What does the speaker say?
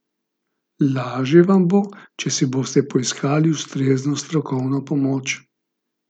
Laže vam bo, če si boste poiskali ustrezno strokovno pomoč.